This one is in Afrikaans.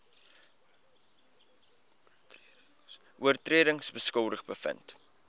oortredings skuldig bevind